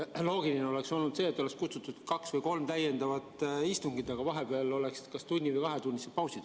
Loogiline oleks olnud see, et oleks kutsutud kokku kaks või kolm täiendavat istungit, aga vahepeal oleksid olnud kas tunnised või kahetunnised pausid.